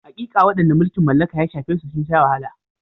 Haƙiƙa, waɗanda mulkin mallaka ya shafe sun sha wahala.